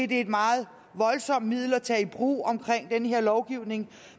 det er et meget voldsomt middel at tage i brug omkring den her lovgivning